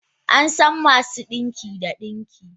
An san masu dinki da dinki.